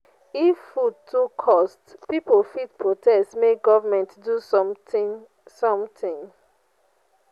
if food too cost pipo fit protest make government do something. something.